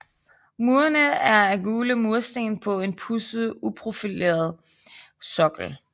Murene er af gule mursten på en pudset uprofileret sokkel